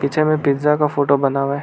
पीछे में पिज़्ज़ा का फोटो बना हुआ है।